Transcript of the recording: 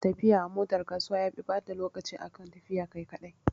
Tafiya a motar kasuwa yafi ɓata lokaci akan tafiya kai kaɗai